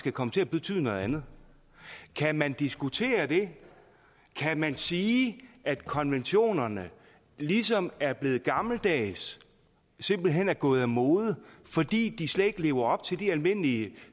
er kommet til at betyde noget andet kan man diskutere det kan man sige at konventionerne ligesom er blevet gammeldags simpelt hen er gået af mode fordi de slet ikke lever op til den virkelighed